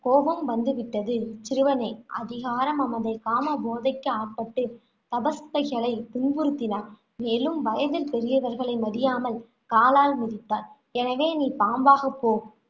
கோபம் வந்து விட்டது. சிறுவனே அதிகார மமதை, காமபோதைக்கு ஆட்பட்டு, துன்புறுத்தினாய். மேலும், வயதில் பெரியவர்களை மதியாமல், காலால் மிதித்தாய். எனவே நீ பாம்பாகப் போ,